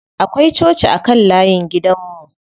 Akwai coci a kan layin gidan mu.